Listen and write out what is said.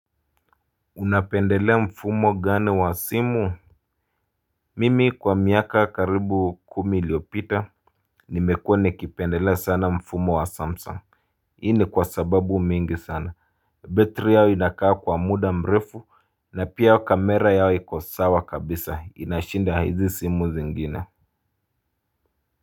Unapendelea mfumo gani wa simu? Mimi kwa miaka karibu kumi iliyopita nimekuwa nikipendelea sana mfumo wa samsung hii ni kwa sababu mingi sana betri yao inakaa kwa muda mrefu na pia kamera yao iko sawa kabisa inashinda hizi simu zingine.